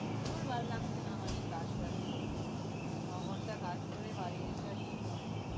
ধুর ভাল লাগছে না আমার এই কাজ টাজ ন-ঘন্টা কাজ করে বাড়ি এসে আর কিচ্ছু হয় না।